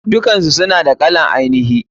Dukansu suna da kalar ainihi.